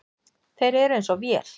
Þeir eru eins og vél.